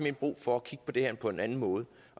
er brug for at kigge på det her på en anden måde